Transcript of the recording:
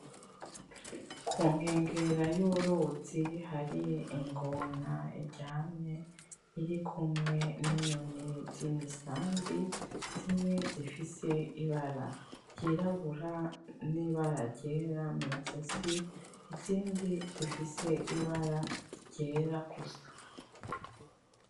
Ku nkengera y’uruzi hari ingona iryamye, irikumwe n’inyoni z’imisambi, zimwe zifise ibara ryirabura n’ibara ryera mw’izosi, izindi zifise ibara ryera gusa.